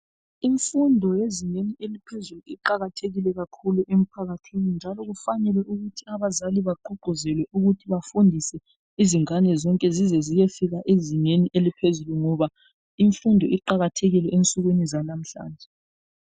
Imfundo yezinga laphezulu iqakathekile kakhulu emphakathini ngakho kuqakathekile ukuthi abazali bagqugquzelwe ukuthi bafundise abantwana bafike ezingeni eliphezulu ngoba imfundo iqakathekile empilweni zabantwana